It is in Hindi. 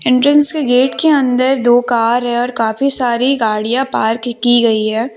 एंट्रेंस के गेट अंदर दो कार है और काफी सारी गाड़ियां पार्क की गईं हैं।